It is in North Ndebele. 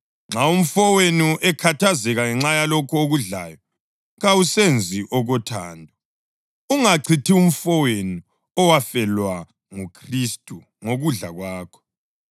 Nxa umfowenu ekhathazeka ngenxa yalokho okudlayo, kawusenzi okothando. Ungachithi umfowenu owafelwa nguKhristu ngokudla kwakho.